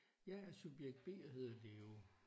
Jeg er subjekt B og hedder Leo